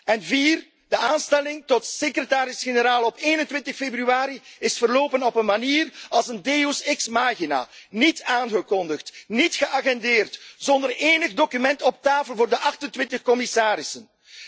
In de vierde plaats de aanstelling tot secretaris generaal op 21 februari is verlopen op een manier als een deus ex machina niet aangekondigd, niet geagendeerd, zonder enig document op tafel voor de 28 commissarissen.